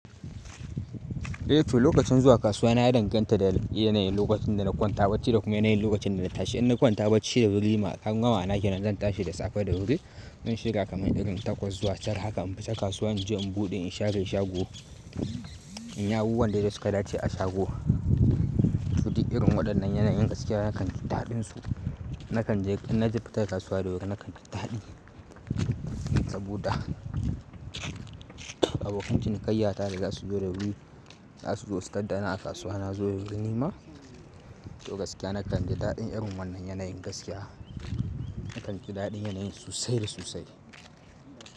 Eh to lokacin zuwa kasuwa na ya danganta da yanayin lokacin da na kwan tabacci da kuma yanayin lokacin da na tashi. In na kwan tabacci da wuri kunga ma'ana kenan zan tashi da safe da wuri. Zan shirya kamar irin takwas zuwa tara haka in fita kasuwa in je in buɗe in share shago. In yi abubuwan da de suka dace a shago. Toh dik irin waɗannan yanayin gaskiya nakan ji daɗinsu. Nakan je in na fita ta kasuwa da wuri nakan ji daɗi saboda abokan cinikayyata da za su zo da wuri. Za su zo su tar da ni a kasuwa na zo da wuri nima. To gaskiya nakan ji daɗin irin wannan yanayin gaskiya. Nakan ji daɗin yanayin sosai da sosai.